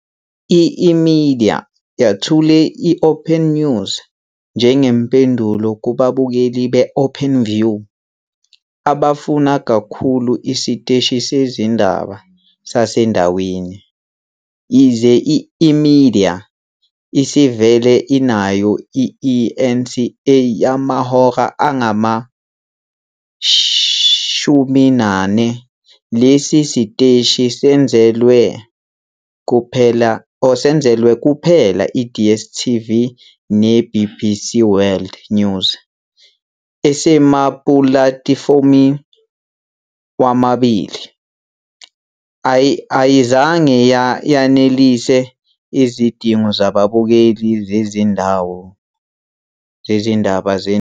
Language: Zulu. I-eMedia yethule i-OpenNews njengempendulo kubabukeli be-Openview abafuna kakhulu isiteshi sezindaba sasendaweni. Yize i-eMedia isivele inayo i- eNCA yamahora angama-24, lesi siteshi senzelwe kuphela i-DStv ne- BBC World News, esemapulatifomu womabili, ayizange yanelise izidingo zababukeli zezindaba zendawo.